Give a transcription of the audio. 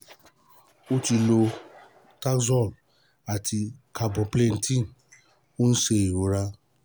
ó ti lo taxol àti carboplatin ó ń ṣe ìrora